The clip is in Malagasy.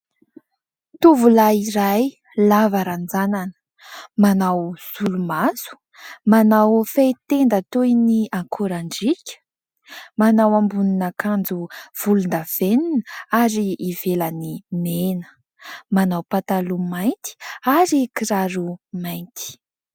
Tovolahy iray lava ranjanana : manao solomaso, manao fehitenda toy ny akorandriaka, manao ambonin'akanjo volondavenona ary ivelany mena, manao pataloha mainty ary kiraro mainty.